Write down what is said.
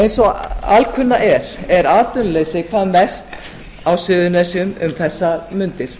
eins og alkunna er atvinnuleysi hvað mest á suðurnesjum um þessar mundir